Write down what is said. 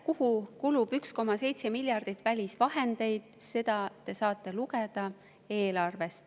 Kuhu kulub 1,7 miljardit välisvahendeid, seda te saate lugeda eelarvest.